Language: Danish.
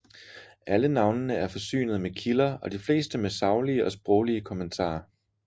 Alle navnene er forsynet med kilder og de fleste med saglige og sproglige kommentarer